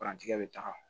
Parantikɛ bɛ taga